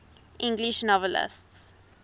english novelists